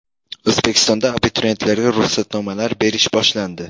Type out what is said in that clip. O‘zbekistonda abituriyentlarga ruxsatnomalar berish boshlandi.